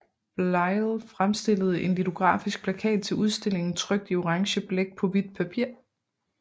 Bleyl fremstillede en litografisk plakat til udstillingen trykt i orange blæk på hvidt papir